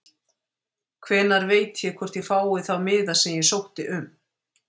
Hvenær veit ég hvort ég fái þá miða sem ég sótti um?